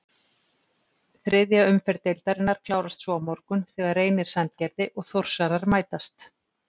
Þriðja umferð deildarinnar klárast svo á morgun þegar Reynir Sandgerði og Þórsarar mætast.